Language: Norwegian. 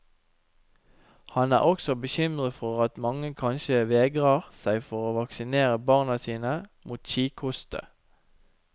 Han er også bekymret for at mange kanskje vegrer seg for å vaksinere barna sine mot kikhoste.